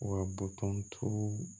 Wa boton tuuru